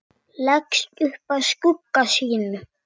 Leggst upp að skugga sínum.